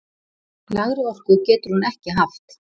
Lægri orku getur hún ekki haft!